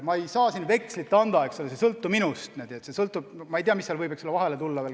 Ma ei saa siin vekslit anda, see ei sõltu minust – mine tea, mis seal võib veel vahele tulla.